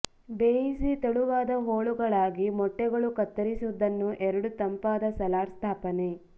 ಬೇಯಿಸಿ ತೆಳುವಾದ ಹೋಳುಗಳಾಗಿ ಮೊಟ್ಟೆಗಳು ಕತ್ತರಿಸಿದ್ದನ್ನು ಎರಡು ತಂಪಾದ ಸಲಾಡ್ ಸ್ಥಾಪನೆ